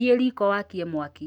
Thiĩ riiko wakie mwaki